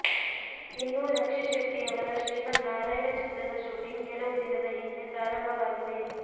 ಇನ್ನು ರಕ್ಷಿತ್ ಶೆಟ್ಟಿ ಅವರ ಶ್ರೀಮನ್ನಾರಾಯಣ ಚಿತ್ರದ ಶೂಟಿಂಗ್ ಕೆಲವು ದಿನದ ಹಿಂದೆ ಪ್ರಾರಂಭವಾಗಿದೆ